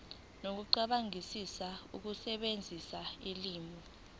nokucabangisisa ukusebenzisa ulimi